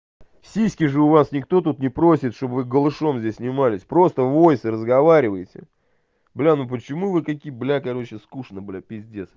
сиськи же у вас никто тут не просит чтобы голышом здесь снимались просто войсе разговаривайте бля ну почему вы такие блять короче скучно блять пиздец